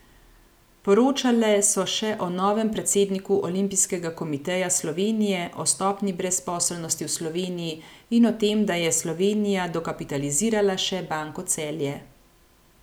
Poročale so še o novem predsedniku Olimpijskega komiteja Slovenije, o stopnji brezposelnosti v Sloveniji in o tem, da je Slovenija dokapitalizirala še Banko Celje.